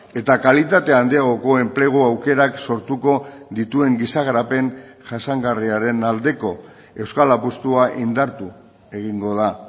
eta kalitate handiagoko enplegu aukerak sortuko dituen giza garapen jasangarriaren aldeko euskal apustua indartu egingo da